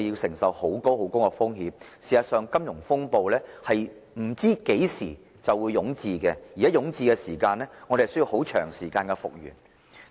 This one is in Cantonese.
事實上，我們不知何時會有金融風暴，而若遭遇金融風暴，我們需要很長時間才能復元。